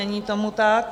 Není tomu tak.